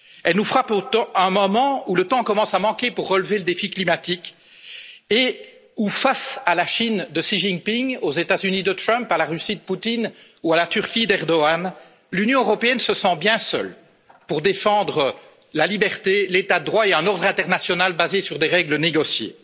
Elle nous frappe à un moment où le temps commence à manquer pour relever le défi climatique et où, face à la Chine de Xi Jinping, aux États Unis de Trump, à la Russie de Poutine ou à la Turquie d'Erdogan, l'Union européenne se sent bien seule pour défendre la liberté, l'état de droit et un ordre mondial basé sur des règles négociées.